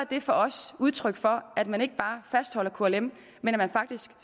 er for os udtryk for at man ikke bare fastholder klm men at man faktisk